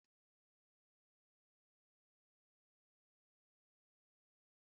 Abubakar hụrụ ụtọ anụ na osikapa ya n'anya